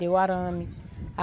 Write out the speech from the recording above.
Deu o arame.